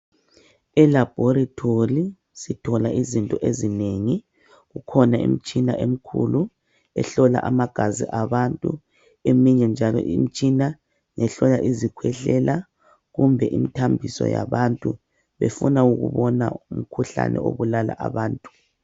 Elabhorithori sithola izinto ezinengi. Kukhona imtshina emkhulu ehlola amagazi abantu. Eminye njalo imtshina ihlola izikhwehlela kumbe imthambiso yabantu, befuna ukubona umkhuhlane obulala abantu.